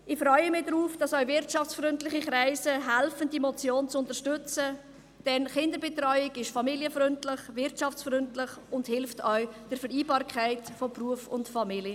Ich freue mich darauf, dass auch wirtschaftsfreundliche Kreise diese Motion unterstützen, denn Kinderbetreuung ist familienfreundlich, wirtschaftsfreundlich und hilft auch der Vereinbarkeit von Beruf und Familie.